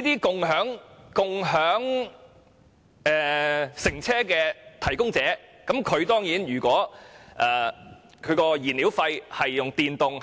如果共享乘車服務提供者在燃料費方面用電力比